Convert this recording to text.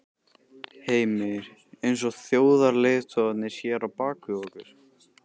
Heimir: Eins og þjóðarleiðtogarnir hér á bak við okkur?